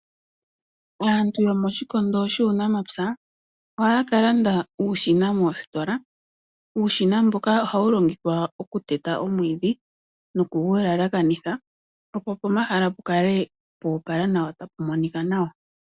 Aantu yomoshikondo shuunamapya ohaya ka landa uushina moositola. Uushina mbuka ohawu longithwa okuteta omwiidhi nokugu yelekanitha opo pomahala pu kale po opala nawa tapu monika nawa.